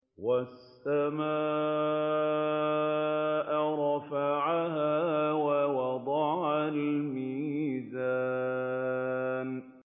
وَالسَّمَاءَ رَفَعَهَا وَوَضَعَ الْمِيزَانَ